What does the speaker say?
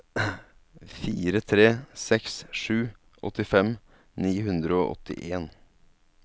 fire tre seks sju åttifem ni hundre og åttien